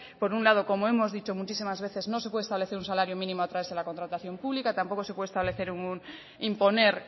por un lado como hemos dicho muchísimas veces no se puede establecer un salario mínimo a través de la contratación pública tampoco se puede establecer imponer